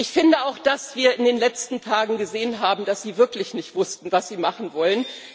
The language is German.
Ich finde auch, dass wir in den letzten Tagen gesehen haben, dass Sie wirklich nicht wussten, was Sie machen wollen.